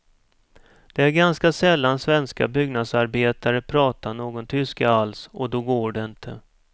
Det är ganska sällan svenska byggnadsarbetare pratar någon tyska alls och då går det inte.